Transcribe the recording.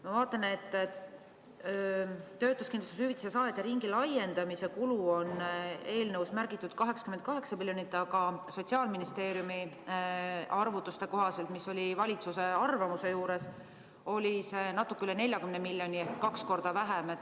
Ma vaatan, et töötuskindlustushüvitise saajate ringi laiendamise kulu on eelnõus märgitud 88 miljonit, aga Sotsiaalministeeriumi arvutuste kohaselt, mis oli valitsuse arvamuse juures, oli see natuke üle 40 miljoni – kaks korda vähem.